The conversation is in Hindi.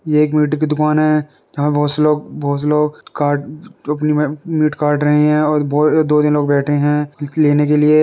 ये एक मीट की दुकान है जहाँ बहुत से लोग- बहुत से लोग काट अ प मीट काट रहे हैं और दो तीन लोग बेठे हैं मीट लेने के लिए।